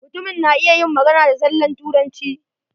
Mutumin na iya yin magana da zallan Turanci.